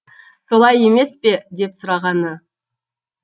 солай емес пе деп сұрағаны